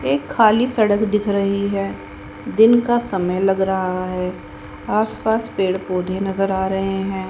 एक खाली सड़क दिख रही है दिन का समय लग रहा है आस पास पेड़ पौधे नजर आ रहे हैं।